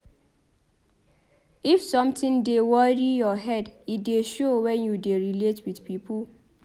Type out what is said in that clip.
If sometin dey worry your head e dey show wen you dey relate wit pipo.